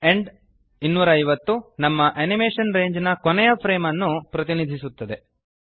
end 250 ನಮ್ಮ animation ರೇಂಜ್ನ ಕೊನೆಯ ಫ್ರೇಮ್ ಅನ್ನು ಪ್ರತಿನಿಧಿಸುತ್ತದೆ